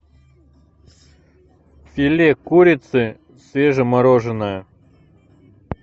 филе курицы свежемороженое